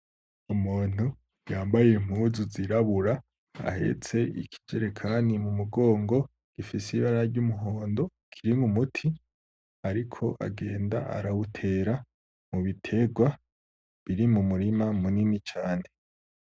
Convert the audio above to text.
Umuntu yambaye impuzu zirabura ahetse ikijerekani mu mugongo gifise ibara ry'umuhondo kirimwo umuti. Ariko agenda arawutera mu biterwa biri mu murima munini cane.